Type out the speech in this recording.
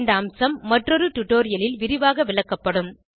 இந்த அம்சம் மற்றொரு டுடோரியலில் விரிவாக விளக்கப்படும்